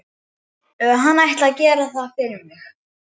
Hann ætli að gera það fyrir mig.